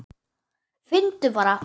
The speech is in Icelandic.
Finndu bara!